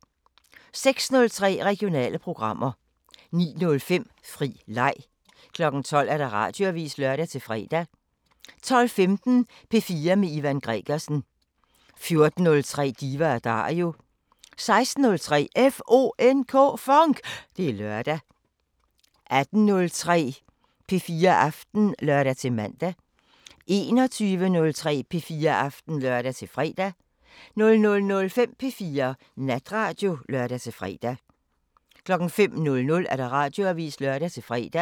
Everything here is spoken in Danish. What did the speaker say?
06:03: Regionale programmer 09:05: Fri leg 12:00: Radioavisen (lør-fre) 12:15: P4 med Ivan Gregersen 14:03: Diva & Dario 16:03: FONK! Det er lørdag 18:03: P4 Aften (lør-man) 21:03: P4 Aften (lør-fre) 00:05: P4 Natradio (lør-fre) 05:00: Radioavisen (lør-fre)